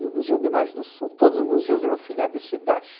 E o Museu de Imagens do Som, todos os museus eram filiados a esse Dach.